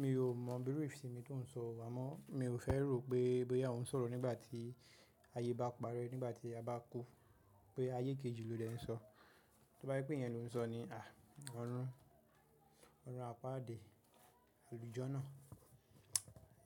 Mi ò mọ̀ bí ìfẹ́ mi tó ń sọ wá mọ́. Mi ò fẹ́ rò pé, boya o ń sọ̀rọ̀ nígbà tí ayé bá parẹ́, nígbà tí a bá kú. Pé ayé kejì lo dè ń sọ. Tí wọ́n bá pé yẹn ló ń sọ ní, ọ̀run ọ̀run apádi àlùjana.